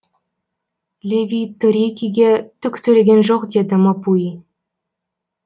леви торикиге түк төлеген жоқ деді мапуи